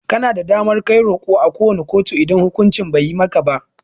Kana da damar Kai roko à ko wani kotu idan hukunci Bai yi maka ba.